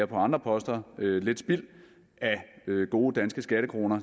på andre poster lidt spild af gode danske skattekroner